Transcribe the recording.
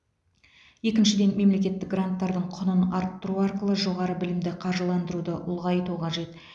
екіншіден мемлекеттік гранттардың құнын арттыру арқылы жоғары білімді қаржыландыруды ұлғайту қажет